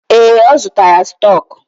Ee, ọ zụtara stọk.